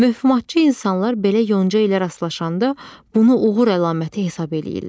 Mövhumatçı insanlar belə yonca ilə rastlaşanda bunu uğur əlaməti hesab eləyirlər.